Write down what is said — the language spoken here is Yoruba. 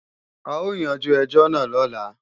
A o yanjú ẹjọ́ náà lọ́la